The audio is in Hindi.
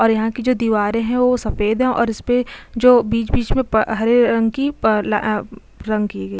और यहाँ की जो दीवारे है वो सफेद है और इसपे जो बीच - बीच पे हरे रंग की रंग की गयी --